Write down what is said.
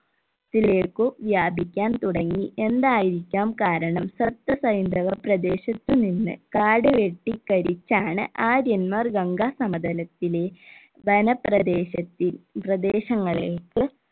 ത്തിലേക്കു വ്യാപിക്കാൻ തുടങ്ങി എന്തായിരിക്കാം കാരണം സപ്തസ ഹൈന്ദവ പ്രദേശത്തു നിന്ന് കാടുവെട്ടി കരിച്ചാണ് ആര്യന്മാർ ഗംഗാ സമതലത്തിലെ വന പ്രദേശത്തിൽ പ്രദേശങ്ങളിലേക്ക്